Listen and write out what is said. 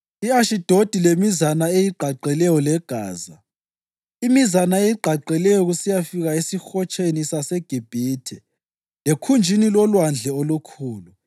i-Ashidodi lemizana eyigqagqeleyo leGaza, imizana eyigqagqeleyo kusiyafika esiHotsheni saseGibhithe lekhunjini loLwandle oLukhulu.